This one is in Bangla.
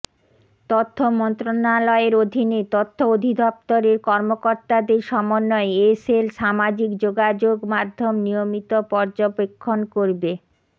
তথ্য মন্ত্রণালয়ের অধীনে তথ্য অধিদফতরের কর্মকর্তাদের সমন্বয়ে এ সেল সামাজিক যোগাযোগ মাধ্যম নিয়মিত পর্যবেক্ষণ করবে